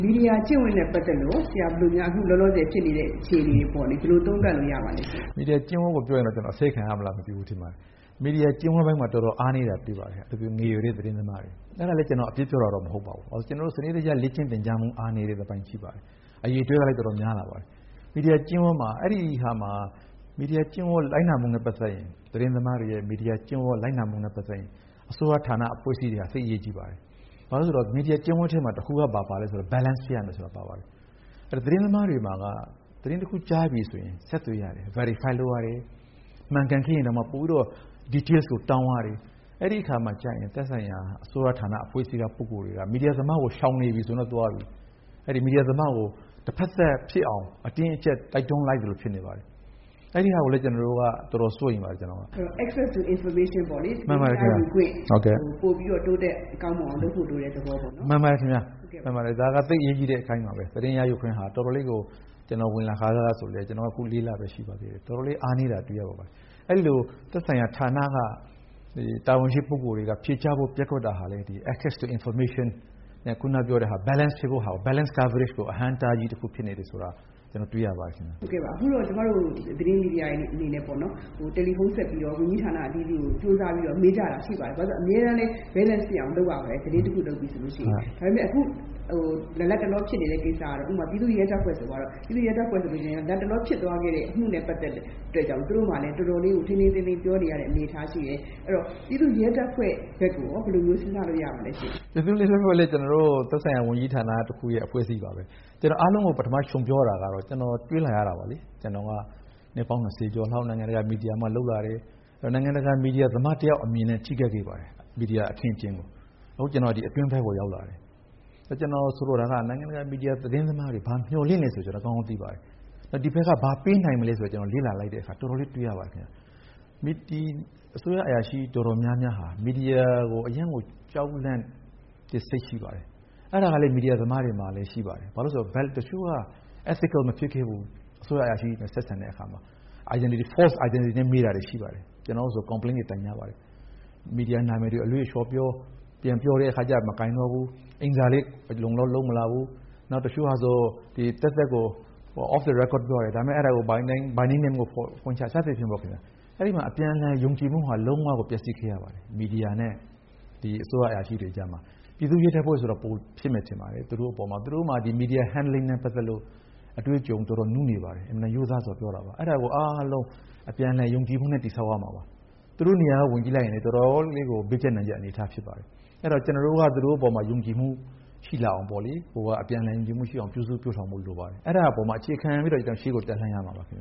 မီဒီယာကျင့်ဝတ်နဲ့ပတ်သက်လို့ရော - အခု လောလောဆယ်ဖြစ်နေတဲ့ အခြေအနေတွေနဲ့ပတ်သက်လို့ ဆရာ ဘယ်လို သုံးသပ်လို့ ရပါသလဲရှင့်။ ဦးအောင်လှထွန်း။ ။ မီဒီယာကျင့်ဝတ်နဲ့ပတ်သက်လို့ ပြောရရင်တော့ ကျနော် အဆဲခံရမလား မသိဘူး ထင်ပါတယ်။ မီဒီယာကျင့်ဝတ်ပိုင်းမှာ တော်တော်အားနည်းတာကို တွေ့ရပါတယ်။ အထူးသဖြင့် ငယ်ရွယ်တဲ့သတင်းသမားတွေ။ အဲဒါလည်း ကျနော် အပြစ်ပြောတာတော့ မဟုတ်ပါဘူး။ ကျနော်တို့ စနစ်တကျလေ့ကျင့်သင်ကြားမှု အားနည်းတဲ့အပိုင်းရှိပါတယ်။ အရည်အတွက်ကတော့ တော်တော်များလာပါတယ်။ သတင်းသမားတွေရဲ့ မီဒီယာကျင့်ဝတ်လိုက်နာမှုနဲ့ပတ်သက်ရင် အစိုးရဌာန အဖွ့ဲအစည်းတွေက သိပ်အရေးကြီးပါတယ်။ ဘာလို့လဲဆိုတော့ မီဒီယာကျင့်ဝတ်ထဲမှာ တခုက ဘာပါလဲဆိုတော့ balance ဖြစ်ရမယ်လို့ ပါပါတယ်။ သတင်းသမားတွေမှာက သတင်းတခုကြားပြီဆိုရင် ဆက်သွယ်ရတယ်၊ verify လုပ်ရတယ်။ မှန်ကန်ခဲ့ရင်တောင်မှ ပိုပြီးတော့ details တွေကိုတောင်းရတယ်။ အဲဒီအခါကျရင် သက်ဆိုင်ရာအစိုးရဌာန အဖွဲ့အစည်းက ပုဂ္ဂိုလ်တွေက မီဒီယာသမားကို ရှောင်နေပြီဆိုရင် သူက အဲဒီမီဒီယာသမားကို တဘက်သတ်ဖြစ်အောင် အတင်းအကြပ် တိုက်တွန်းလိုက်သလို ဖြစ်ပါတယ်။ အဲဒီဟာကိုလည်း ကျနော်တို့က တော်တော်စိုးရိမ်ပါတယ်။ ဒေါ်ခင်စိုးဝင်း။ ။ access to information…. ပေါ့လေ၊ ပိုပြီးတော့ တိုးတက်ကောင်းမွန်အောင် လုပ်ဖို့ လိုတဲ့သဘောပေါ့။ ဦးအောင်လှထွန်း။ ။ မှန်ပါတယ်ခင်ဗျ။ သိပ်အရေးကြီးတဲ့အပိုင်းပါပဲ။ သတင်းရယူခွင့်ဟာ တော်တော်လေးကို ကျနော်ဝင်လာခါစကဆို၊ ကျနော်ဝင်လာတာ အခု လေးလပဲ ရှိပါသေးတယ်။ တော်တော်လေး အားနည်းတာကို တွေ့ရပါတယ်။ အဲဒီလို သက်ဆိုင်ရာဌာနက တာဝန်ရှိပုဂ္ဂိုလ်တွေက ဖြေကြားဖို့ ပျက်ကွက်တာဟာလည်း အခုနကပြောတဲ့ access to information - အခုနပြောတဲ့ balance… balance coverage ကို အဟန့်အတားကြီးဖြစ်နေတယ်ဆိုတာ ကျနော်တွေ့ရပါတယ်။ ဒေါ်ခင်စိုးဝင်း။ ။ ဟုတ်ကဲ့ပါ။ အခုတော့ ကျမတို့ သတင်းမီဒီယာတွေအနေနဲ့ပေါ့နော်၊ တယ်လီဖုံးဆက်ပြီးတော့ ဝန်ကြီးဌာနအသီးသီးကို ကြိုးစားပြီးတော့ မေးကြတာရှိပါတယ်။ ဘာလို့လဲဆိုတော့ အမြဲတမ်းလည်း balance ဖြစ်အောင်လုပ်ရပါတယ်။ သတင်းတခု လုပ်ပြီဆိုလို့ရှိရင် - ဒါပေမယ့် အခု လတ်တလောဖြစ်နေတဲ့ကိစ္စကတော့ ဥပမာ ပြည်သူ့ရဲ တပ်ဖွဲ့ ဆိုပါတော့၊ ပြည်သူ့ရဲတပ်ဖွဲ့ ဆိုလို့ရှိရင် လတ်တလောဖြစ်သွားခဲ့တဲ့အမှုနဲ့ ပတ်သက်တဲ့ အတွက်ကြောင့် သူတို့ကလည်း တော်တော်လေး ထိန်းထိန်းသိမ်းသိမ်း ပြောနေရတဲ့အနေအထားရှိတယ်။ အဲဒီတော့ ပြည်သူ့ရဲတပ်ဖွဲ့ဘက်ကိုရော ဘယ်လိုမျိုး စဉ်းစားလို့ရပါလဲရှင့်။ ဦးအောင်လှထွန်း။ ။ ပြည်သူ့ရဲတပ်ဖွဲ့ကလည်း ကျနော်တို့ရဲ့ သက်ဆိုင်ရာ ဝန်ကြီးဌာနရဲ့ အဖွဲ့အစည်းတခုပါပဲ။ အားလုံးကိုပထမခြုံပြောရတာကတော့ ကျနော်တွေ့လာရတာပါလေ။ ကျနော်က နှစ်ပေါင်း ၂၀ ကျော်လောက် မီဒီယာမှာလုပ်လာတယ်၊ နိုင်ငံတကာ မီဒီယာ သမား တယောက် အမြင်နဲ့ ကြည့်တတ်ခဲ့ပါတယ်။ မီဒီယာအခင်းအကျင်းကို။ နော်- ကျနော် အခု အတွင်းပိုင်းကိုရောက်လာတယ်။ ကျနော်ဆိုလိုတာက နိုင်ငံတကာ မီဒီယာ သတင်းသမားတွေက မျှော်လင့်တယ်ဆိုတာကို ကျနော် ကောင်းကောင်းသိပါတယ်။ ဒီဘက်က ဘာပေးနိုင်မလဲဆိုတာ လေ့လာလိုက်တော့ တော်တော်လေး တွေ့ရပါတယ် ခင်ဗျ။ အစိုးရအရာရှိအတော်များများဟာ မီဒီယာကို အရမ်းကို ကြောက်လန့်တဲ့စိတ် ရှိပါတယ်။ အဲဒါကလည်း မီဒီယာသမားတွေမှာရှိပါတယ်။ ဘာလို့တုန်းဆိုတော့ တချို့က ethical မဖြစ်ခဲ့ဘူး။ အစိုးရအရာရှိကြီးတွေနဲ့ ဆက်ဆံတဲ့အခါမှာ။ fake identity တွေနဲ့ မေးတာရှိပါတယ်။ တချို့တွေဆို ကျနော်တို့ကို complaint တွေ တိုင်ကြပါတယ်။ မီဒီယာနာမည်တွေကို အလွဲအချော်ပြော၊ ပြန်ပြောတဲ့ အခါကျ မကိုင်တော့ဘူး၊ အိမ်စာလည်း အလုံအလောက်လုပ်မလာဘူး။ နောက် တချို့ကဆို သက်သက်ကို off the record ပြောတယ်၊ ဒါပေမယ့် အဲဒါကို by name နဲ့ဖွင့်ချတယ်။ စသည်ဖြင့်ပေါ့- အဲဒီမှာ အပြန်အလှန်ယုံကြည်မှုဟာ လုံးဝကို ပျက်စီးခဲ့ရပါတယ်။ မီဒီယာနဲ့ အစိုးရအရာရှိတွေကြားမှာ။ ပြည်သူ့ရဲတပ်ဖွဲ့ဆိုတာ ပိုဖြစ်မယ်ထင်ပါတယ်၊ သူတို့အပေါ်မှာ၊ သူတို့မှာ media handling နဲ့ပတ်သက်လို့ အတွေ့အကြုံတော်တော်နုနယ်ပါတယ်။ အင်မတန် ရိုးသားစွာပြောတာပါ။ အဲဒါကို အားလုံး အပြန်အလှန်ယုံကြည်မှုနဲ့ တည်ဆောက်ရမှာပါ။ သူတို့နေရာကဝင်ကြည့်လိုက်ရင်လည်း တော်တော်လေးကို ဘေးကြပ်နံကြပ်အနေအထား ဖြစ်ပါတယ်။ အဲဒါ ကျနော်တို့က သူတို့အပေါ် ယုံကြည်မှုရှိလာအောင်၊ အပြန်အလှန်ယုံကြည်မှုရှိအောင် ပြုစုပျိုးထောင်ဖို့လိုပါတယ်။ အဲဒါအပေါ်မှာအခြေခံပြီးတော့ ရှေ့ကိုတက်လှမ်းရမှာပါခင်ဗ